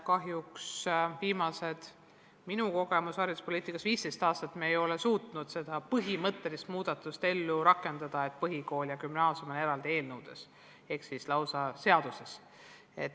Kahjuks minu kogemused hariduspoliitikas on sellised, et viimase 15 aasta jooksul me ei ole suutnud seda põhimõttelist muudatust ellu rakendada, et põhikool ja gümnaasium on eraldi seadustes.